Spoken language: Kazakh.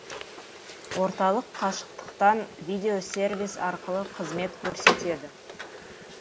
орталық қашықтықтан видеосервис арқылы қызмет көрсетеді